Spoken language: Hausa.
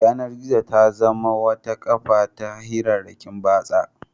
Yanar-gizo ta zama wata kafa ta hirarrakin batsa.